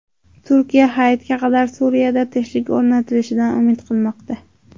Turkiya Hayitga qadar Suriyada tinchlik o‘rnatilishidan umid qilmoqda.